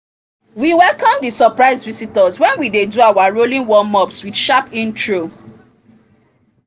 we welcome the surprise visitors wen we dey do our rowing warm ups with sharp intro